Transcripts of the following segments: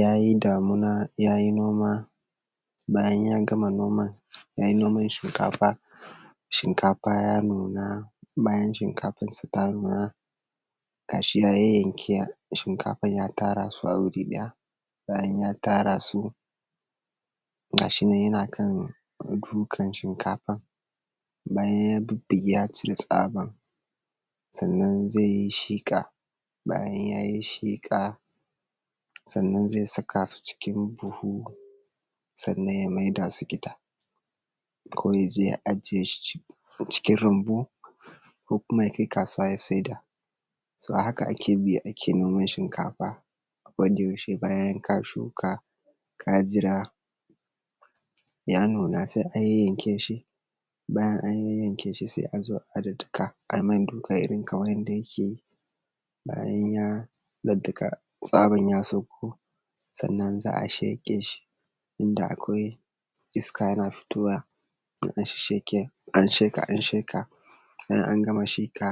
ya yi damina ya yi noma bayan ya gama noman ya yi noman shinkafa shinkafa ya nuna bayan shinkafansa ta nuna gashi ya yayyanke shinkafansa ya tara su guri ɗaya bayan ya tara su gashi nan yana kan dukan shinkafan bayan ya bubbuge ga shi yana kan cire tsaban sannan zai yi shiƙa bayan ya yi shiƙa sannan zai saka su cikin buhu sannan ya maida su gida ko ya je ya aje su cikin rumbu ko kuma ya kai kasuwa ya saida toh a haka ake bi ake noman shinkafa wanda yaushe bayan ka shuka ka jira ya nuna sai a yanyanke shi bayan an yanyanke shi sai a zo a daddaka a mai duka irin kaman yanda ke yi bayan ya daddaka tsaban ya sauko sannan za a sheƙe shi da akwai iska yana fitowa in an sheƙe an sheƙe an sheke in an gama shiƙa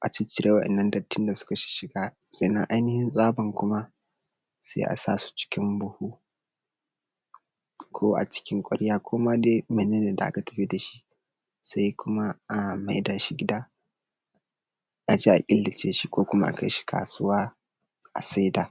a ciccire wa’innan dattin da suka shishshiga sannan ainihin tsaban kuma sai a sa su cikin buhu ko a cikin ƙwarya koma dai mene ne da aka tafi da shi saI kuma a mai da shi gida aje a killace shi ko kuma a kai shi kasuwa a sai da